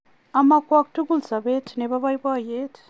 amakwok tugul sobet nebo boiboiyet